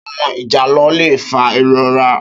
Áwòn ijálò lé fá irórà